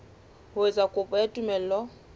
ho etsa kopo ya tumello